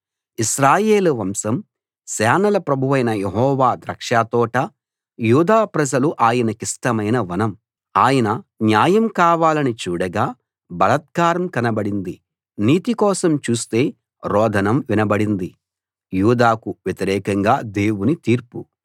ఇశ్రాయేలు వంశం సేనల ప్రభువైన యెహోవా ద్రాక్షతోట యూదా ప్రజలు ఆయనకిష్టమైన వనం ఆయన న్యాయం కావాలని చూడగా బలాత్కారం కనబడింది నీతి కోసం చూస్తే రోదనం వినబడింది